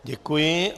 Děkuji.